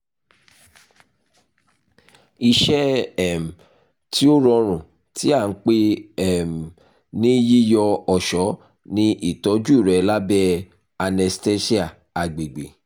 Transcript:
iṣẹ um ti o rọrun ti a npe um ni yiyọ ọṣọ ni itọju rẹ labẹ anesthesia agbegbe